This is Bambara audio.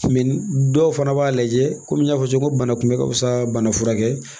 dɔw fana b'a lajɛ kɔmi n y'a fɔ cogo min bana kunbɛ ka fisa bana furakɛ ye